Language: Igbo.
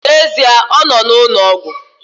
N'ezie, ọ nọ n'ụlọ ọgwụ